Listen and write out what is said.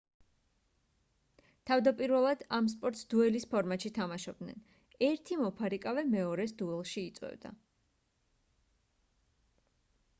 თავდაპირველად ამ სპორტს დუელის ფორმატში თამაშობდნენ ერთი მოფარიკავე მეორეს დუელში იწვევდა